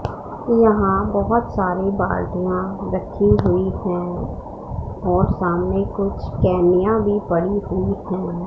यहां बहुत सारे बाल्टियां रखी हुई है और सामने कुछ केनिया भी पड़ी हुई है।